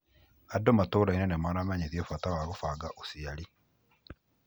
Andũ matũrainĩ nĩmaramenyĩthio bata wa gũbanga ũciari.